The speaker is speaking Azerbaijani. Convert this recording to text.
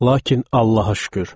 Lakin Allaha şükür.